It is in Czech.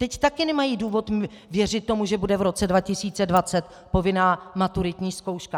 Teď taky nemají důvod věřit tomu, že bude v roce 2020 povinná maturitní zkouška.